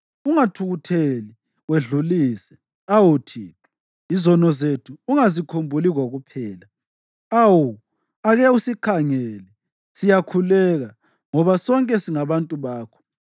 Ungathukutheli wedlulise, awu Thixo; izono zethu ungazikhumbuli kokuphela. Awu, ake usikhangele, siyakhuleka, ngoba sonke singabantu bakho.